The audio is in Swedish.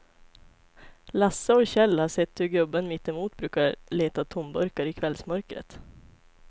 Lasse och Kjell har sett hur gubben mittemot brukar leta tomburkar i kvällsmörkret.